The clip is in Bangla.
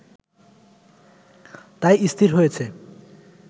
তাই স্থির হয়েছে